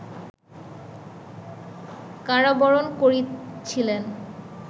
কারাবরণ করেছিলেন